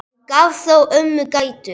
Hann gaf þó ömmu gætur.